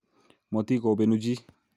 Motikobenu chi